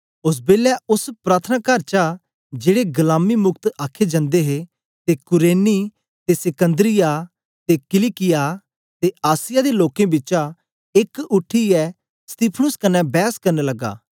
ओस बेलै ओस प्रार्थनाकार चा जेड़े गलामीमुक्त आखे जंदे हे ते कुरेनी ते सिकन्दरिया ते किलिकिया ते आसिया दे लोकें बिचा एक उठीयै स्तिफनुस कन्ने बैस करन लगे